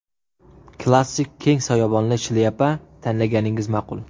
Klassik keng soyabonli shlyapa tanlaganingiz ma’qul.